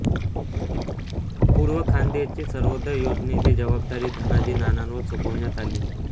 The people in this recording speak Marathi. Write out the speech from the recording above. पूर्व खान्देशची सर्वोदय योजनेची जवाबदारी धनाजी नानांवर सोपवण्यात आली